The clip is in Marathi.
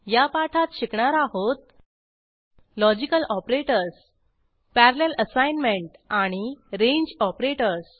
या पाठात शिकणार आहोत लॉजिकल ऑपरेटर्स पॅरलल असाईनमेंट आणि रेंज ऑपरेटर्स